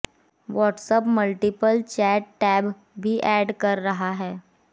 WhatsApp multiple chat tab भी add कर रहा है